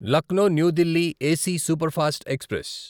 Lucknow new Delhi AC superfast express